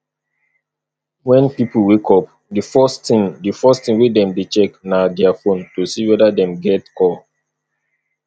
when pipo wake up di first thing di first thing wey dem dey check na their phone to see weda dem get call